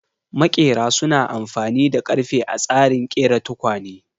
Maƙera su na amfani da ƙarfe a tsarin ƙera tukwane